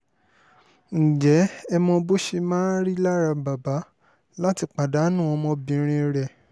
ǹjẹ́ ẹ mọ bó ṣe máa rí lára bàbá láti pàdánù ọmọbìnrin rẹ̀